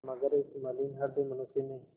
मगर इस मलिन हृदय मनुष्य ने